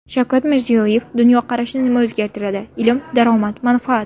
Shavkat Mirziyoyev: Dunyoqarashni nima o‘zgartiradi – ilm, daromad, manfaat.